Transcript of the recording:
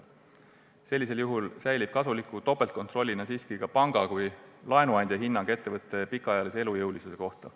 Sellisel juhul säilib kasuliku topeltkontrollina siiski ka panga kui laenuandja hinnang ettevõtte pikaajalise elujõulisuse kohta.